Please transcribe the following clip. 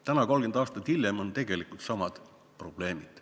Täna, 30 aastat hiljem on tegelikult samad probleemid.